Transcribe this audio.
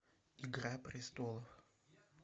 игра престолов